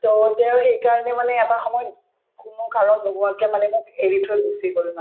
to তেওঁ সেই কাৰণে মানে এটা সময়ত কোনো কাৰণ নোহোৱা মানে মোক এৰি থৈ গুচি গল